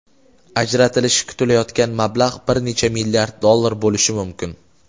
ajratilishi kutilayotgan mablag‘ bir necha milliard dollar bo‘lishi mumkin.